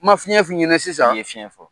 N ma fiɲɛ f'i ɲɛna sisan , i ye fiɲɛ fɔ.